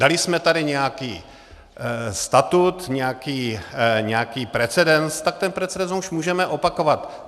Dali jsme tady nějaký statut, nějaký precedens, tak ten precedens už můžeme opakovat.